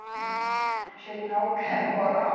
Né. A gente não quer morar